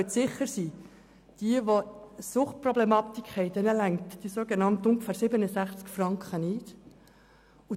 Sie können sicher sein, dass für diejenigen, die eine Suchtproblematik haben, die sogenannt ungefähr 67 Franken nicht ausreichen.